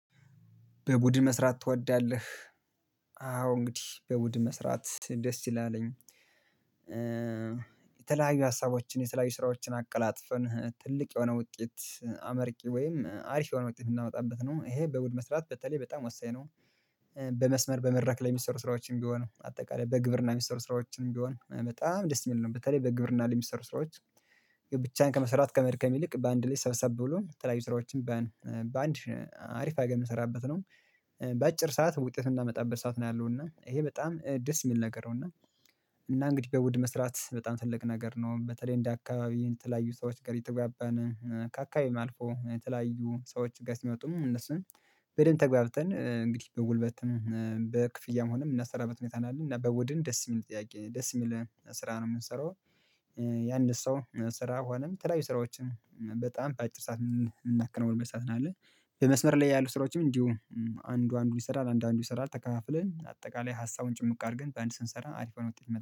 በቡድን መስራት ትወዳለህ? አዎ እንግዲህ በቡድን መስራት ደስ ይላለኝ። የተለያዩ ሀሳቦችን የተለያዩ ስራዎችን አቀላጥፈን ትልቅ የሆነ ውጤት አመርቂ ወይም አሪፍ የሆነ ውጤት ምናመጣበት ነው። ይሄ በቡድን መስራት በተለይ በጣም ወሳኝ ነው። በመስመር በመድረክ ላይ ሚሰሩ ስራዎችም ቢሆኑ በአጠቃላይ በግብርና ሚሰሩ ስራዎችንም ቢሆን በጣም ደስ የሚል ነው። በተለይ በግብርና ላይ የሚሰሩ ስራዎች ብቻን ከመስራት ከመድከም ይልቅ በአንድ ላይ ሰብሰብ ብሎ የተለያዩ ስራዎችን በአንድ አሪፍ አርገን የምንሰራበት ነው። በአጭር ሰዓት ውጤት ምናመጣበት ሰዓት ነው ያለው እና ይሄ በጣም ደስ የሚል ነገር ነው። እና እና እንግዲህ በቡድን መስራት በጣም ትልቅ ነገር ነው። በተለይ እንደ አካባቢ የተለያዩ ሰዎች ጋር እየተግባባን ካካቢም አልፎ የተለያዩ ሰዎች ጋር ሲመጡም እነሱን በደንብ ተግባብተን እንግዲህ በጉልበትም በክፍያም ሆነም የምናሰራበት ሁኔታ ነው ያለው። እና በቡድን ደስ የሚል ጥያቄ ነው፣ ደስ የሚል ስራ ነው የምንሰራው። የአንድ ሰው ስራ ሆነም የተለያዩ ስራዎችን በጣም በአጭር ሰዓት የምናከነውንበት ሰዓት ነው ያለ። በመስመር ላይ ያሉ ስራዎችም እንዲሁ አንዱ አንዱ ይሰራል፣ አንዱ አንዱ ይሰራል ተካፍለን አጠቃላይ ሀሳቡን ጭምቅ አድርገን በአንድ ስንሰራ አሪፋ የሆነ ውጤት